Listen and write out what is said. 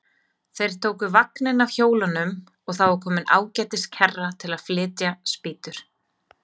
Þeir tóku vagninn af hjólunum og þá var komin ágætis kerra til að flytja spýtur.